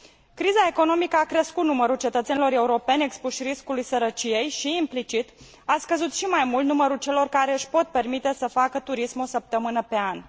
Criza economică a crescut numărul cetățenilor europeni expuși riscului sărăciei și, implicit, a scăzut și mai mult numărul celor care își pot permite să facă turism o săptămână pe an.